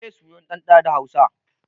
Meye sunan ɗan ɗa da hausa?